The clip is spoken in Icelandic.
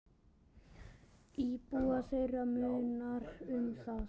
Íbúa þeirra munar um það.